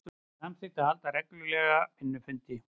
Samþykkt að halda reglulega vinnufundi